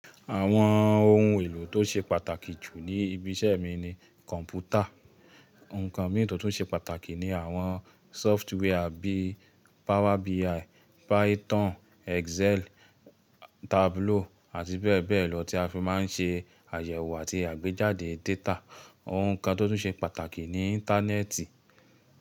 Àwọn ohun èlò tó ṣe pàtàkì jù ní ibi iṣẹ́ mi ni kọ̀ǹpútà. Ǹkàn mìíràn tó ṣe pàtàkì ni àwọn sọ́ftwaré bí i Power BI, Python, Excel, Tableau àti bẹ́ẹ̀ bẹ́ẹ̀ lọ tí a fi máa ń ṣe àyẹ̀wò àti àgbéjáde data. Òuǹkàn tó tún ṣe pàtàkì ni Íńtánẹ́ẹ̀tì.